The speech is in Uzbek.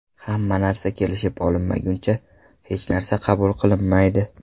Hamma narsa kelishib olinmaguncha, hech narsa qabul qilinmaydi.